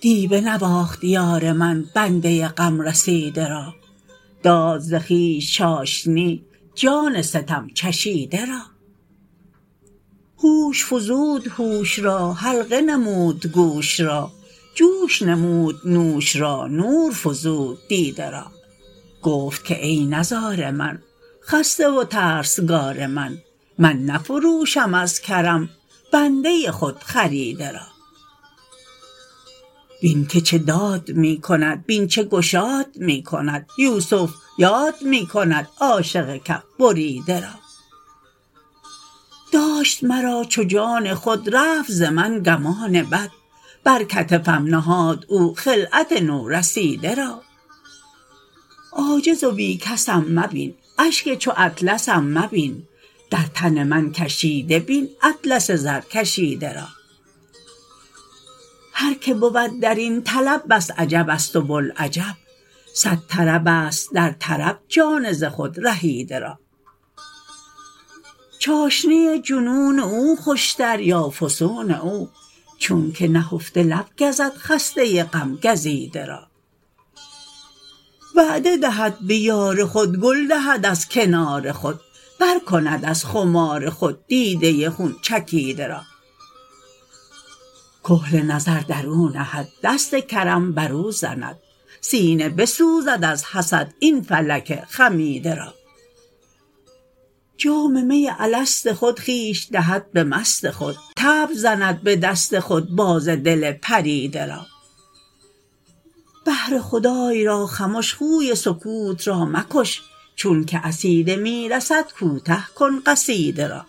دی بنواخت یار من بنده غم رسیده را داد ز خویش چاشنی جان ستم چشیده را هوش فزود هوش را حلقه نمود گوش را جوش نمود نوش را نور فزود دیده را گفت که ای نزار من خسته و ترسگار من من نفروشم از کرم بنده خودخریده را بین که چه داد می کند بین چه گشاد می کند یوسف یاد می کند عاشق کف بریده را داشت مرا چو جان خود رفت ز من گمان بد بر کتفم نهاد او خلعت نورسیده را عاجز و بی کسم مبین اشک چو اطلسم مبین در تن من کشیده بین اطلس زرکشیده را هر که بود در این طلب بس عجبست و بوالعجب صد طربست در طرب جان ز خود رهیده را چاشنی جنون او خوشتر یا فسون او چونک نهفته لب گزد خسته غم گزیده را وعده دهد به یار خود گل دهد از کنار خود پر کند از خمار خود دیده خون چکیده را کحل نظر در او نهد دست کرم بر او زند سینه بسوزد از حسد این فلک خمیده را جام می الست خود خویش دهد به مست خود طبل زند به دست خود باز دل پریده را بهر خدای را خمش خوی سکوت را مکش چون که عصیده می رسد کوته کن قصیده را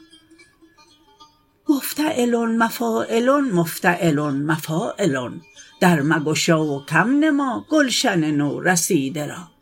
مفتعلن مفاعلن مفتعلن مفاعلن در مگشا و کم نما گلشن نورسیده را